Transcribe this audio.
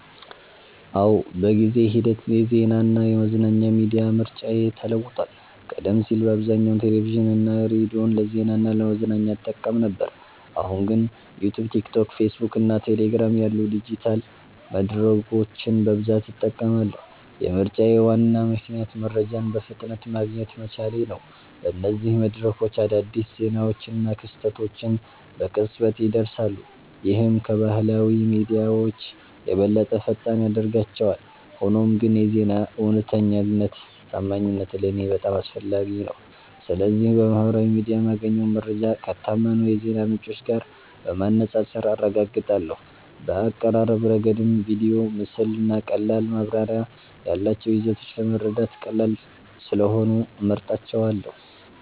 አዎ፣ በጊዜ ሂደት የዜናና የመዝናኛ ሚዲያ ምርጫዬ ተለውጧል። ቀደም ሲል በአብዛኛው ቴሌቪዥንና ሬዲዮን ለዜና እና ለመዝናኛ እጠቀም ነበር፣ አሁን ግን ዩትዩብ፣ ቲክቶክ፣ ፌስቡክ እና ቴሌግራም ያሉ ዲጂታል መድረኮችን በብዛት እጠቀማለሁ። የምርጫዬ ዋና ምክንያት መረጃን በፍጥነት ማግኘት መቻሌ ነው። በእነዚህ መድረኮች አዳዲስ ዜናዎችና ክስተቶች በቅጽበት ይደርሳሉ፣ ይህም ከባህላዊ ሚዲያዎች የበለጠ ፈጣን ያደርጋቸዋል። ሆኖም ግን የዜና እውነተኛነትና ታማኝነት ለእኔ በጣም አስፈላጊ ነው። ስለዚህ በማህበራዊ ሚዲያ የማገኘውን መረጃ ከታመኑ የዜና ምንጮች ጋር በማነጻጸር አረጋግጣለሁ። በአቀራረብ ረገድም ቪዲዮ፣ ምስል እና ቀላል ማብራሪያ ያላቸው ይዘቶች ለመረዳት ቀላል ስለሆኑ እመርጣቸዋለ